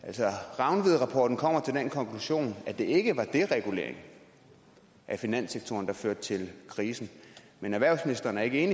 rangvidrapporten kommer altså til den konklusion at det ikke var deregulering af finanssektoren der førte til krisen men erhvervsministeren er ikke